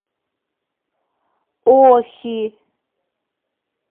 охи